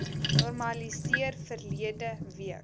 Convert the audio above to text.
normaliseer verlede week